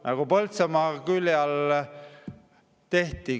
Nagu Põltsamaa külje all tehti.